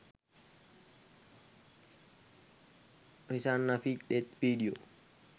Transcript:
rizana nafeek death video